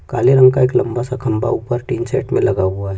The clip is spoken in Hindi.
काले रंग का एक लम्बा सा खंबा ऊपर टीन शेड में लगा हुआ है।